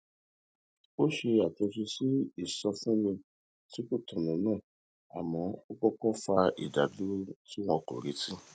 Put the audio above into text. ó ṣe àtúnṣe sí ìsọfúnni tí kò tọnà náà àmọ ó kókó fa ìdádúró tí wọn kò retí